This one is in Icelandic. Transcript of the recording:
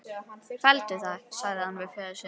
Felldu það, sagði hann við föður sinn.